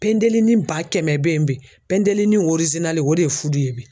Pɛndɛlinni ba kɛmɛ bɛ yen bi, pɛndɛlinni o de ye fudu ye bi .